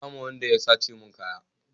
An kama Wanda ya sace mun kaya